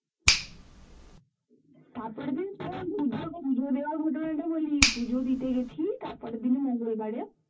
তারপরের দিন তোরা পুজোর পূজো দেওয়ার ঘটনা টা বলি পুজো দিতে গেছি তারপরের দিনই মঙ্গলবারে